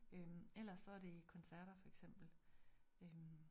Øh ellers så det koncerter for eksempel øh